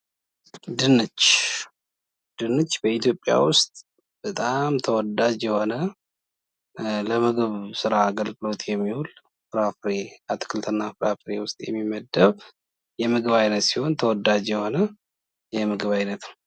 ድንች ድንች በኢትዮጵያ ውስጥ በጣም ተወዳጅ የሆነ ለምግብ ስራ አገልግሎት የሚውል አትክልት እና ፍራፍሬ ውስጥ የሚመደብ የምግብ አይነት ሲሆን ተወዳጅ የሆነ የምግብ አይነት ነው።